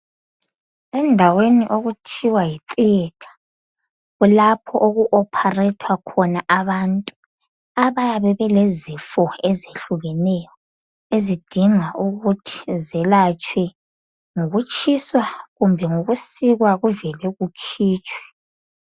Endaweni okuthiwa yitheatre kulapho okuopharethwa khona abantu abayabe belezifo ezehlukeneyo ezidinga ukuthi zelatshwe ngokutshiswa kumbe ngokusikwa kuvele kukhitshwe.